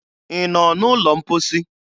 Ị nọ n'ụlọ mposi?